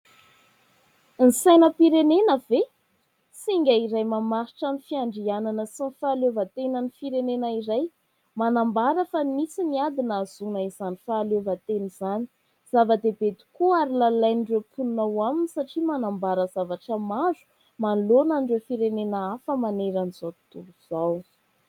Ny sainapirenena ve? Singa iray mamaritra ny fiandrianana sy ny fahaleovantenan'ny firenena iray, manambara fa nisy ny ady nahazoana izany fahaleovantena izany. Zava-dehibe tokoa ary lalain'ireo mponina ao aminy satria manambara zavatra maro manoloana an'ireo firenena hafa maneran'izao tontolo izao.